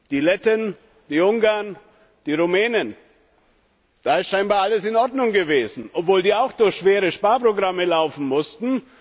Die Letten, die Ungarn, die Rumänen da ist scheinbar alles in Ordnung gewesen, obwohl diese Länder auch schwere Sparprogramme durchlaufen mussten.